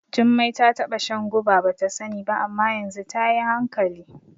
Jumai ta taɓa shan guba bata sani ba, amma yanzu tayi hankali.